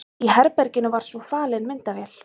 Í herberginu var svo falin myndavél.